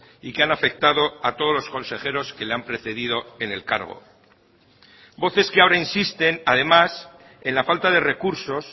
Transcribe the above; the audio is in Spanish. y que han afectado a todos los consejeros que le han precedido en el cargo voces que ahora insisten además en la falta de recursos